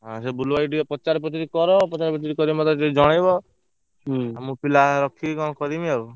ହଁ ସେ ବୁଲୁଭାଇ କୁ ଟିକେ ପଚରା ପଚରି କର ପଚରା ପଚରି କରି ମତେ ଟିକେ ଜଣେଇବ ମୁ ପିଲା ରକ୍ଷିମୀ ଙ୍କ କରିମି ଆଉ।